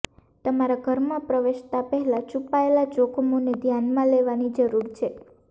તમારા ઘરમાં પ્રવેશતા પહેલાં છુપાયેલા જોખમોને ધ્યાનમાં લેવાની જરૂર છે